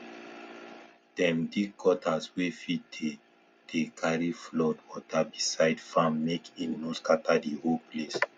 dem dig gutters wey fit dey dey carry flood water beside farm make e no scatter the whole place